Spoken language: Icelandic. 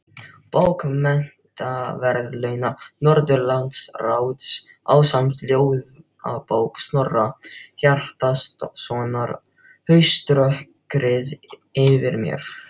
Bókmenntaverðlauna Norðurlandaráðs ásamt ljóðabók Snorra Hjartarsonar, Hauströkkrið yfir mér.